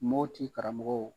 Moti karamɔgɔw